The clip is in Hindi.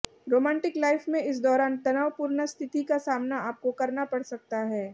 रोमांटिक लाइफ में इस दौरान तनावपूर्ण स्थिति का सामना आपको करना पड़ सकता है